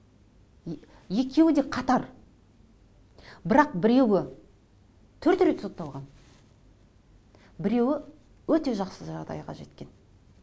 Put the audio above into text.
екеуі де қатар бірақ біреуі төрт рет сотталған біреуі өте жақсы жағдайға жеткен